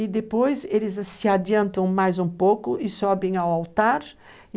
E depois eles se adiantam mais um pouco e sobem ao altar.